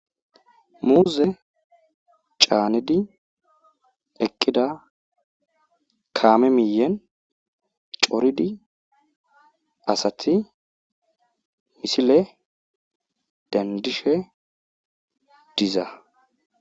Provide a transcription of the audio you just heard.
Muuze caanidi eqqida kaame miyyen coridi asati misile denddishe diza.